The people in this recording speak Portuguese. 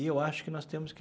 E eu acho que nós temos que